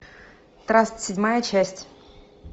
траст седьмая часть